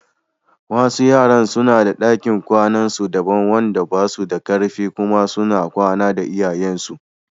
Wasu yaran suna da ɗakin kwanan su daban wanda basu da kar fi kuma suna kwana da iyayensu.